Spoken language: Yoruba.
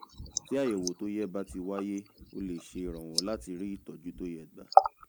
tí àyẹ̀wò tó yẹ bá ti wáyé ó lè ṣèrànwọ́ láti rí ìtọ́jú tó yẹ gbà